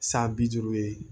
San bi duuru ye